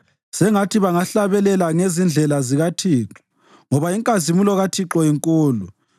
Sengathi bangahlabela ngezindlela zikaThixo ngoba inkazimulo kaThixo inkulu.